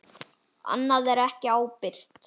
Annað er ekki ábyrgt.